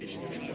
Heç.